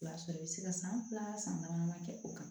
I b'a sɔrɔ i bɛ se ka san fila san dama dama kɛ o kan